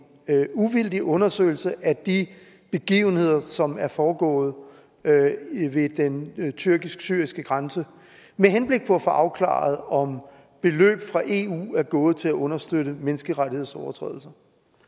uvildig undersøgelse af de begivenheder som er foregået ved den tyrkisk syriske grænse med henblik på at få afklaret om beløb fra eu er gået til at understøtte menneskerettighedsovertrædelser